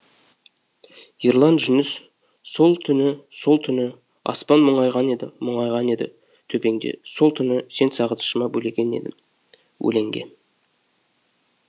ерлан жүніс сол түні сол түні аспан мұңайған еді мұңайған еді төбеңде сол түні сені сағынышыма бөлеген едім өлеңге